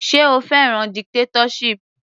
Sé o fẹ́ràn dictatorship.